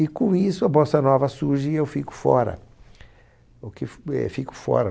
E com isso a Bossa Nova surge e eu fico fora. O que f, eh, fico fora